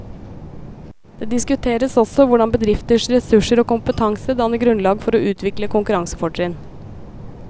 Det diskuteres også hvordan bedrifters ressurser og kompetanse danner grunnlag for å utvikle konkurransefortrinn.